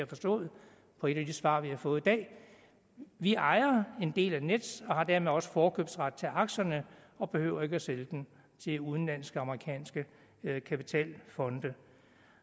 forstået på et af de svar vi har fået i dag vi ejer en del af nets og har dermed også forkøbsret til aktierne og behøver ikke at sælge dem til udenlandske eller amerikanske kapitalfonde